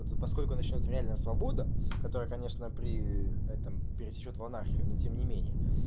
от поскольку начнётся реальная свобода которая конечно при этом перетечёт в анархию но тем не менее